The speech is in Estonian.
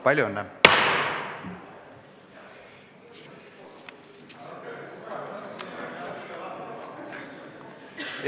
Palju õnne!